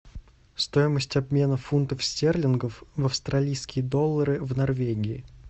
стоимость обмена фунтов стерлингов в австралийские доллары в норвегии